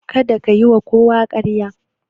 Kada ka yiwa kowa ƙarya.